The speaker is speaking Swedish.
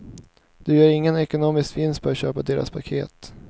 Du gör ingen ekonomisk vinst på att köpa deras paket.